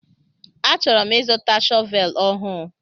A chọrọ m ịzụta shọvel ọhụụ.